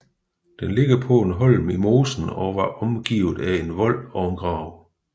Den ligger på en holm i mosen og var omgivet af en vold og en grav